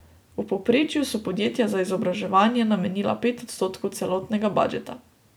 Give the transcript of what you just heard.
V povprečju so podjetja za izobraževanje namenila pet odstotkov celotnega budžeta.